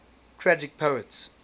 tragic poets